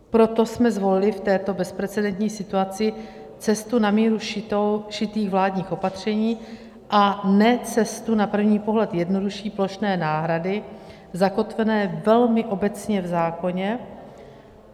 Proto jsme zvolili v této bezprecedentní situaci cestu na míru šitých vládních opatření, a ne cestu na první pohled jednodušší plošné náhrady zakotvené velmi obecně v zákoně.